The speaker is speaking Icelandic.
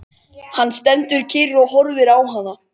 Hann stendur kyrr og horfir á hana.